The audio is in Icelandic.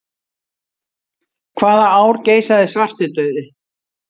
Hvaða ár geisaði svartidauði?